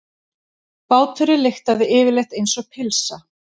Báturinn lyktaði yfirleitt einsog pylsa.